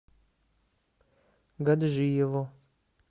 гаджиево